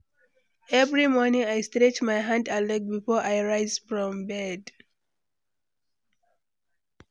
Every morning, I stretch my hand and leg before I rise from bed.